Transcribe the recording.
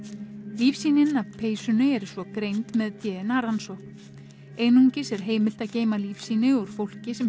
lífsýnin af peysunni eru svo greind með d n a rannsókn einungis er heimilt að geyma lífsýni úr fólki sem